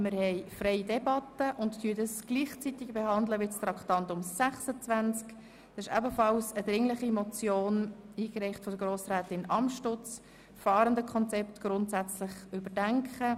Wir führen eine freie Debatte und behandeln gleichzeitig das Traktandum 26, ebenfalls eine dringliche Motion, eingereicht von Grossrätin Amstutz unter dem Titel «FahrendenKonzept grundsätzlich überdenken».